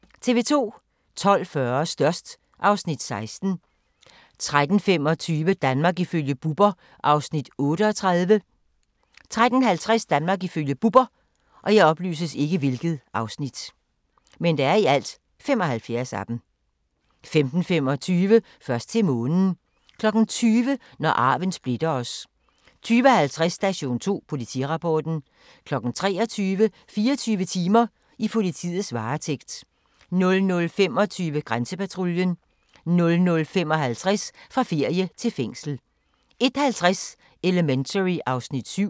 12:40: Størst (Afs. 16) 13:25: Danmark ifølge Bubber (38:75) 13:50: Danmark ifølge Bubber 15:25: Først til månen 20:00: Når arven splitter os 20:50: Station 2: Politirapporten 23:00: 24 timer: I politiets varetægt 00:25: Grænsepatruljen 00:55: Fra ferie til fængsel 01:50: Elementary (Afs. 7)